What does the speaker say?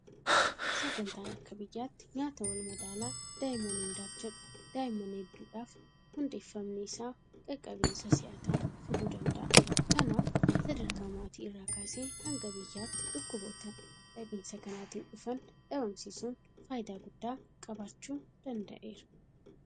Sagantaan akka biyyaatti nyaata walmadaalaa daa'imman hundaaf jedhu daa'imman hedduudhaaf hundeeffamni isaa qaqqabinsa si'ataa fiduu danda'a. Kanaaf sadarkaa maatii irraa kaasee hanga biyyaatti dhukkuboota dhabinsa kanaatiin dhufan dhabamsiisuun faayidaa guddaa qabaachuu danda'eera.